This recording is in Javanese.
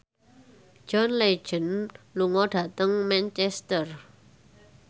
John Legend lunga dhateng Manchester